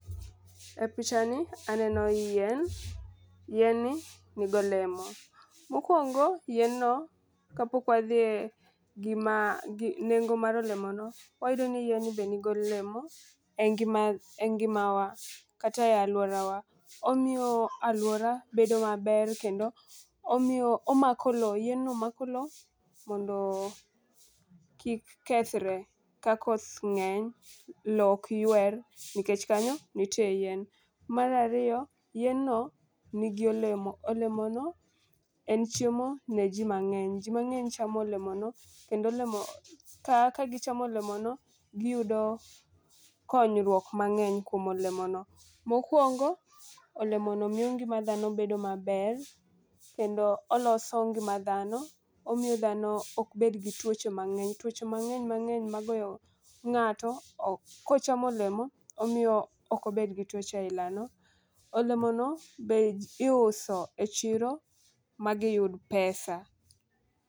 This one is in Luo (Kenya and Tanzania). E picha ni aneno yien, yien ni nigo lemo. Mokwongo yien no kapok wadhi e gima gi nengo mar olemo no, wayudo ni yien ni be nigo lemo e ngima ngimawa kata e luorawa. Omiyo aluora bedo maber kendo omiyo omako lowo yien no mako lowo mondo kik kethre, kakoth ng'eny lowo ok ywer nikech kanyo nitie yien. Mar ariyo yien no nigi olemo, olemo no en chiemo ne jii mang'eny, jii mangeny chamo olemo no kendo olemo no ka gichamo olemono giyudo konyruok mang'eny kuom olemono. Mokwongo olemono miyo ngima dhano bedo maber kendo oloso ngima dhano omiyo dhano ok bed gi tuoche mang'eny. Tuoche mang'eny mang'eny magoyo ng'ato ok kochamo olemo omiyo ok obed gi tuche aila no. Olemo no be iuso e chiro magiyud pesa